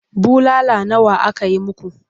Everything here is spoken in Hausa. Bulala nawa aka yi muku?